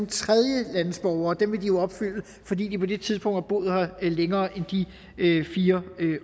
tredjelandsborgere dem vil de jo opfylde fordi de på det tidspunkt har boet her længere end i de fire